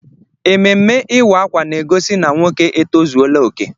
Ememme ịwa akwa na egosi na nwoke etozuola ókè.